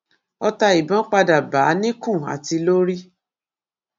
ọtá ìbọn padà bá a níkùn àti lórí